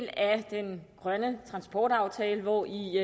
den grønne transportaftale hvori